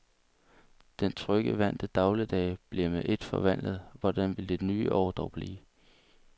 Den trygge vante dagligdag blev med et forvandlet, hvordan vil det nye år dog blive?